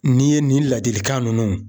N'i ye nin ladilikan ninnu